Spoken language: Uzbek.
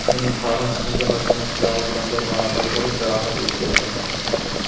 uning qorin qismiga oshxona pichog‘i bilan bir marotaba urib jarohat yetkazgan.